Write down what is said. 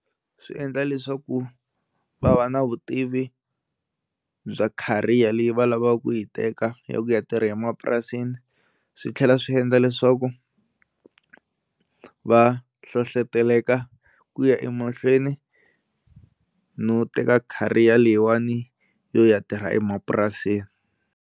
Swi endla leswaku va va na vutivi bya career leyi va lavaka ku yi teka ya ku ya tirha emapurasini swi tlhela swi endla leswaku va hlohloteleka ku ya emahlweni no teka career leyiwani yo ya tirha emapurasini.